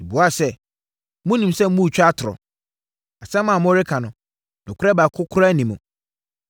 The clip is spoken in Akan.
Mebuaa sɛ, “Wonim sɛ woretwa atorɔ. Asɛm a woreka no, nokorɛ baako koraa nni mu.”